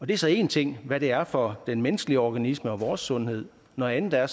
det er så én ting hvad det er for den menneskelige organisme og vores sundhed noget andet er